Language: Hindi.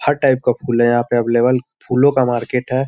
हर टाइप का फूल है यहां पर अवलेबल फूलो का मार्केट है।